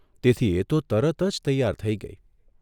તેથી એ તો તરત જ તૈયાર થઇ ગઇ.